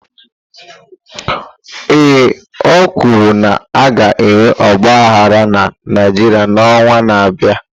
Ee, o kwuru na a ga-enwe ọgba aghara na Naịjirịa n'ọnwa na-abịa.